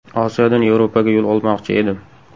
Osiyodan Yevropaga yo‘l olmoqchi edim.